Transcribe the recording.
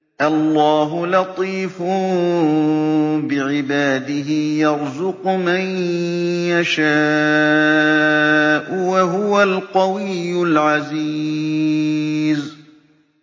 اللَّهُ لَطِيفٌ بِعِبَادِهِ يَرْزُقُ مَن يَشَاءُ ۖ وَهُوَ الْقَوِيُّ الْعَزِيزُ